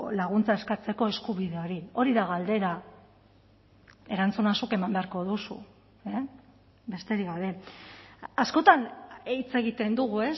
laguntza eskatzeko eskubide hori hori da galdera erantzuna zuk eman beharko duzu besterik gabe askotan hitz egiten dugu